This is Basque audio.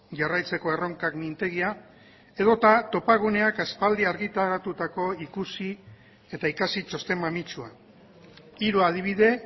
jarraitzeko erronkak mintegia edota topaguneak aspaldi argitaratutako ikusi eta ikasi txosten mamitsua hiru adibide